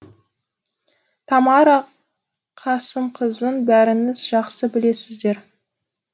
тамара қасымқызын бәріңіз жақсы білесіздер